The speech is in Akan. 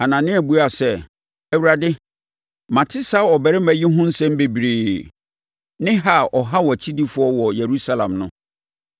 Anania buaa sɛ, “Awurade, mate saa ɔbarima yi ho nsɛm bebree, ne ha a ɔha wʼakyidifoɔ wɔ Yerusalem no.